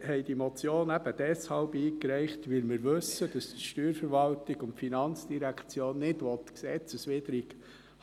Wir haben die Motion eingereicht, weil wir wissen, dass die Steuerverwaltung und die FIN nicht gesetzeswidrig